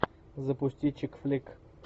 запусти чикфлик